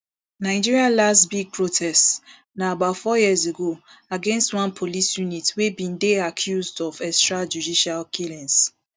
nigeria lass big protests na about four years ago against one police unit wey bin dey accused of extrajudicial killings